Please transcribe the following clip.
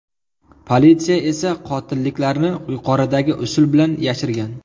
Politsiya esa qotilliklarni yuqoridagi usul bilan yashirgan.